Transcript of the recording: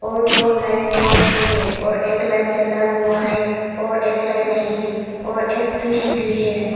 और दो light bulb भी है और एक लाइट जला हुआ है और एक लाइट नहीं है और एक फिश भी है।